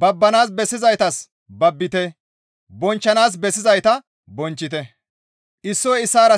babbanaas bessizaytas babbite; bonchchanaas bessizayta bonchchite.